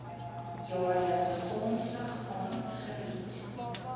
jaarlikse grondslag aangebied